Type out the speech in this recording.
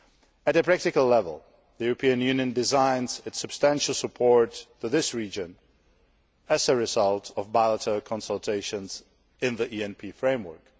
At a practical level, the European Union designs its substantial support for this region as a result of bilateral consultations in the ENP framework.